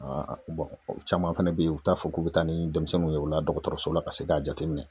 caman fɛnɛ be yen u t'a fɔ k'u be taa ni denmisɛnninw ye u la dɔgɔtɔrɔso la ka se ka jateminɛ.